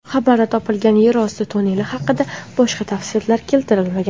Xabarda topilgan yer osti tunneli haqida boshqa tafsilotlar keltirilmagan.